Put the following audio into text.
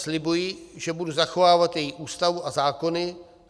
Slibuji, že budu zachovávat její Ústavu a zákony.